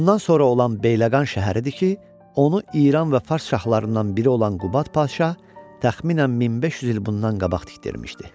Bundan sonra olan Beyləqan şəhəridir ki, onu İran və Fars şahlarından biri olan Qubad şah təxminən 1500 il bundan qabaq tikdirmişdir.